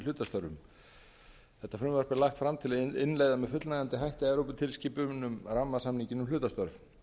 hlutastörfum frumvarp þetta er lagt fram til að innleiða með fullnægjandi hætti evróputilskipun um rammasamninginn um hlutastörf